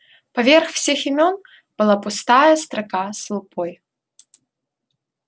поверх всех имён была пустая строка с лупой